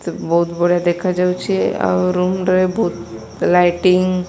ବୋହୁତ ବଢିଆ ଦେଖା ଯାଉଚି ଆଉ ରୁମ୍ ରେ ବୋହୁତ ଲାଇଟିଙ୍ଗ --